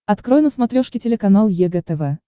открой на смотрешке телеканал егэ тв